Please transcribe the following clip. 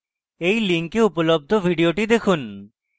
এই link উপলব্ধ video দেখুন